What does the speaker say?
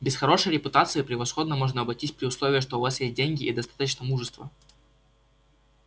без хорошей репутации превосходно можно обойтись при условии что у вас есть деньги и достаточно мужества